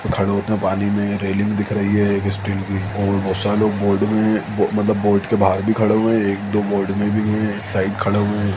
खड़े हो उतने पानी में रेलिंग दिख रही है एक स्टील की और बोहत सारे लोग बोर्ड में मतलब बोट के बाहर भी खड़े हुए है एक दो बोर्ड में भी है एक साइड खड़े हुए है।